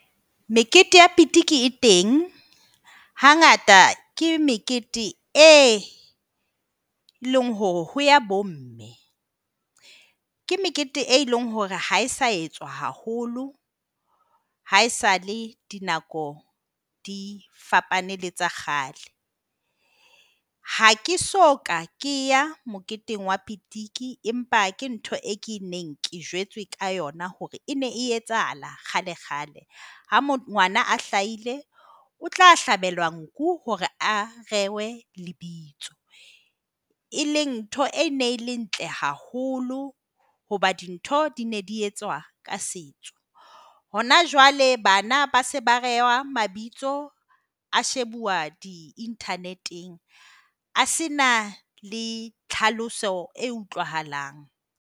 Mekete ya pitiki e teng, hangata ke mekete e leng hore ho ya bomme. Ke mekete, e leng hore ha e sa etswa haholo haesale dinako di fapane le tsa kgale. Ha ke soka ke ya moketeng wa pitiki empa ke ntho eo keneng ke jwetswe ka yona hore e ne e etsahala kgalekgale. Ha ngwana a hlaile, o tla hlabelwa nku hore a rehwe lebitso. E leng ntho e neng le ntle haholo hoba dintho di ne di etswa ka setso. Hona jwale bana ba se ba rehwa mabitso a shebuwa di-internet-eng, a se na le tlhaloso e utlwahalang.